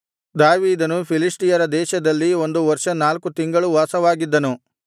ದಾವೀದನು ಫಿಲಿಷ್ಟಿಯರ ದೇಶದಲ್ಲಿ ಒಂದು ವರ್ಷ ನಾಲ್ಕು ತಿಂಗಳೂ ವಾಸವಾಗಿದ್ದನು